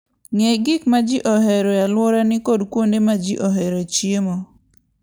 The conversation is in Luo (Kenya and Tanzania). Ng'e gik ma ji ohero e alworani kod kuonde ma ji oheroe chiemo.